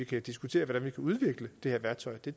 kan diskutere hvordan man kan udvikle det her værktøj og det